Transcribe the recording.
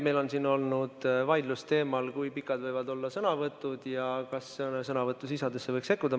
Meil on siin olnud vaidlus teemal, kui pikad võivad olla sõnavõtud ja kas sõnavõtu sisusse võiks sekkuda.